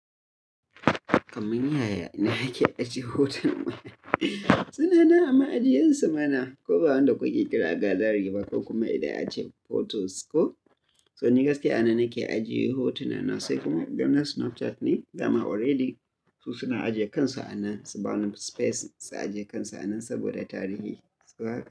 Kamun yaya ina ke ajiye hoton? Suna nan a ma'ajiyinsu mana, ko ba wanda kuke kira gallery ba ko kuma idan ace photos ko. So ni gaske a nan nake ajiye hotunana sai kuma idan na Snapchat ne, dama already su suna ajiye kansu a nan, su bani space su ajiye kansu a nan saboda tarihi.